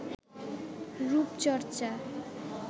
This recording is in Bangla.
রুপচর্চা